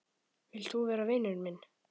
Vilt þú vera vinur minn?